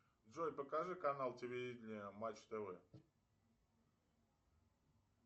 джой покажи канал телевидения матч тв